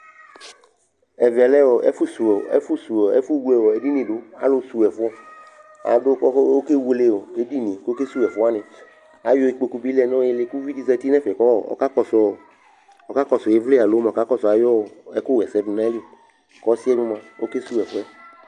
Ɛvɛ lɛ ɛfʋsiwu ɔ ɛfʋsuwu ɛfʋwle edini dʋ Alʋ suwu ɛfʋ Adʋ kʋ ɔkewele ɔ edini kʋ ɔkesuwu ɛfʋ wanɩ Ayɔ ikpoku bɩ lɛ nʋ ɩɩlɩ kʋ uvi dɩ zati kʋ ɔkakɔsʋ ɔ ɩvlɩ alo mʋ ɔkakɔsʋ ayʋ ɛkʋɣa ɛsɛ dʋ nʋ ayili kʋ ɔsɩ bɩ mʋa, ɔkesuwu ɛfʋ yɛ